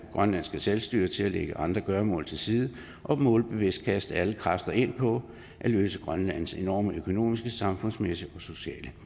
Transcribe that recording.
grønlandske selvstyre til at lægge andre gøremål til side og målbevidst at kaste alle kræfter ind på at løse grønlands enorme økonomiske samfundsmæssige og sociale